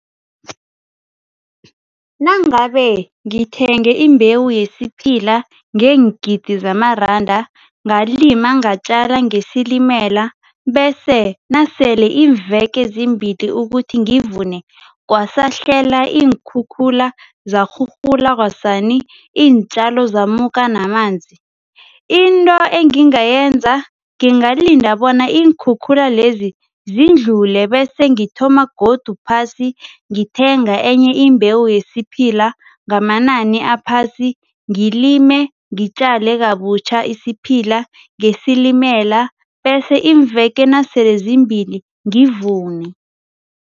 Nangabe ngithenge imbewu yesiphila ngeengidi zamaranda, ngalima, ngatjala ngesilimela bese nasele iimveke zimbili ukuthi ngivune kwasahlelwa iinkhukhula, zarhurhula kwasani, iintjalo zamuka namanzi, into engingayenza, ngingalinda bona iinkhukhula lezi zindlle bese ngithoma godu phasi ngithenga enye imbewu yesiphila ngamanani aphasi, ngilime, ngitjale kabutjha isiphila ngesilimela bese iimveke nasele zimbili ngivune.